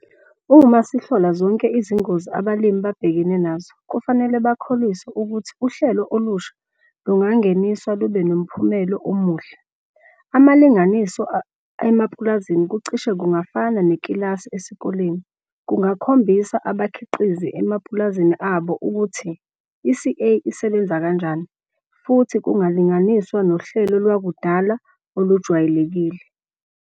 Uma sihlola zonke izingozi abalimi babhekene nazo, kufanele bakholiswe ukuthi uhlelo olusha lungangeniswa lubenomphumelo omuhle. Amalinganiso emapulazini kucishe kungafana nekilasi esikoleni, kungakhombisa abakhiqizi emapulazini abo ukuthi i-CA isebenza kanjani futhi kungalinganiswa nohlelo lwakudala olujwayelekile.